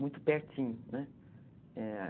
Muito pertinho, né?